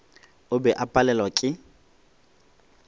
o be o palelwa ke